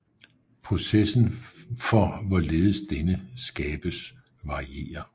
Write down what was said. Processen for hvorledes denne skabes varierer